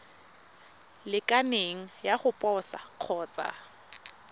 lekaneng ya go posa kgotsa